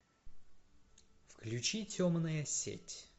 включи темная сеть